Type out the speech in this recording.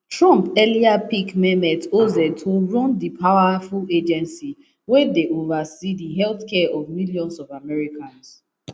trump earlier pick mehmet oz to run di powerful agency wey dey oversee di healthcare of millions of americans